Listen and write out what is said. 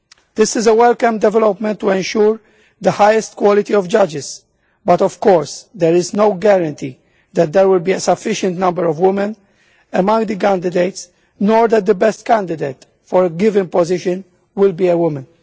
This is a welcome development to ensure the highest quality of judges, but of course there is no guarantee that there will be a sufficient number of women among the candidates nor that the best candidate for a given position will be a woman.